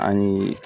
An ye